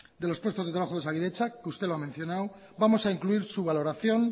de los puestos de trabajo de osakidetza que usted lo ha mencionado vamos a incluir su valoración